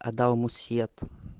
отдал мусьетом